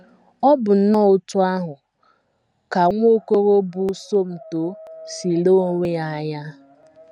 Ọ bụ nnọọ otú ahụ ka nwa okoro bụ́ Somto si lee onwe ya anya.